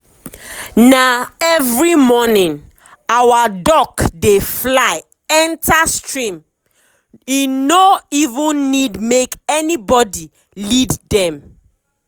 na every morning our duck dey fly enter streame no even need make anybody lead dem.